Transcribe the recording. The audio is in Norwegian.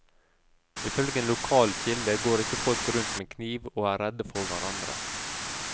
Ifølge en lokal kilde går ikke folk rundt med kniv og er redde for hverandre.